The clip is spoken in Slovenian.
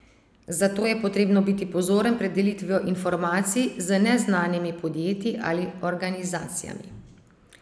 Zato je potrebno biti pozoren pred delitvijo informacij z neznanimi podjetji ali organizacijami.